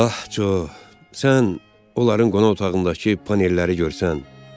Ah, Co, sən onların qonaq otağındakı panelləri görsən.